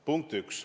Punkt 1.